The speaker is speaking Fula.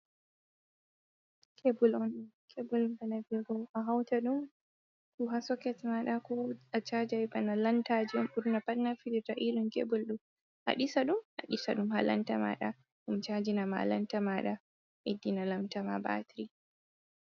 Cable on ɗo, cable bana viyugo a hauta ɗum ko ha soket maɗa ko a chajai bana lanta ji on naftirta be cable do adisa ɗum, adisa dum ha lanta maɗa dum chanji na ma lanta maɗa ɗum bedɗina lanta ma batiri.